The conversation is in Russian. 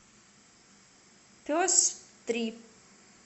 пес три